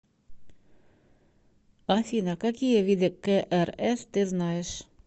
афина какие виды крс ты знаешь